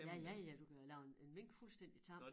Ja ja ja du kan lave en en mink fuldstændig tam